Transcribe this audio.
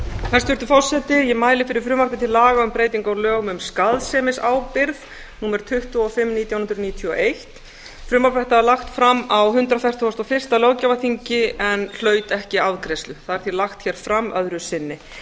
hæstvirtur forseti ég mæli fyrir frumvarpi til laga um breytingu á lögum um skaðsemisábyrgð númer tuttugu og fimm nítján hundruð níutíu og eitt frumvarp þetta var lagt fram á hundrað fertugasta og fyrsta löggjafarþingi en hlaut ekki afgreiðslu það er því lagt hér fram öðru sinni